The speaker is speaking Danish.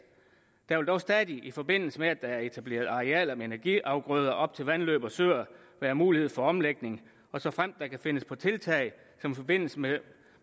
der vil dog stadig i forbindelse med at der er etableret arealer med energiafgrøder op til vandløb og søer være mulighed for omlægning og såfremt der kan findes på tiltag som i forbindelse med